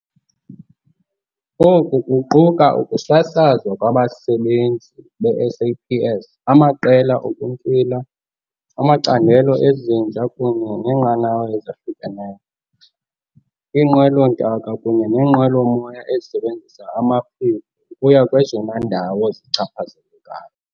Oku kuquka ukusasazwa kwabasebenzi be-SAPS, amaqela okuntywila, amacandelo ezinja kunye neenqanawa ezahlukeneyo, iinqwelo-ntaka kunye neenqwelo-moya ezisebenzisa amaphiko ukuya kwezona ndawo zichaphazelekayo.